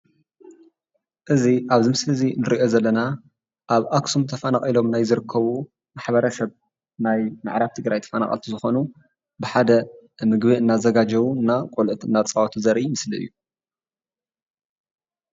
እዚ ኣብዚ ምስሊ እዚ እንርእዮ ዘለና ኣብ ኣክሱም ተፈናቂሎም ናይ ዝርከቡ ማሕበረሰብ ናይ ምዕራብ ትግራይ ተፈናቐልቲ ዝኮኑ ብሓደ ምግቢ እናዘጋጀዉ እና ቖልዑት እናጻወቱ ዘርኢ ምስሊ እዩ።